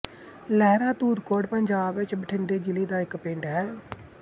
ਲਹਿਰਾ ਧੂਰਕੋਟ ਪੰਜਾਬ ਵਿੱਚ ਬਠਿੰਡੇ ਜ਼ਿਲ੍ਹੇ ਦਾ ਇੱਕ ਪਿੰਡ ਹੈ